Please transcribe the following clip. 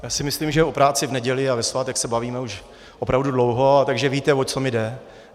Já si myslím, že o práci v neděli a ve svátek se bavíme už opravdu dlouho, takže víte, o co mi jde.